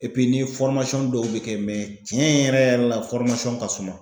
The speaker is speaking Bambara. n'i ye dɔw be kɛ tiɲɛ yɛrɛ yɛrɛ la ka suman.